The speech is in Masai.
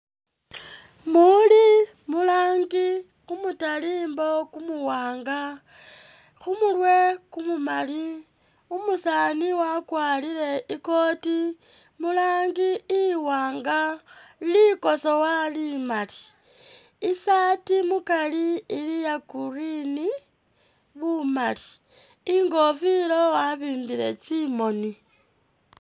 Muli mu rangi, kumutalimbwa kumuwaanga khumurwe kumumaali, umusaani wakwarire i kooti mu rangi iwaanga, likosowa limaali, isaati mukaari ili iya green bumaali, ingofila wabimbile tsimooni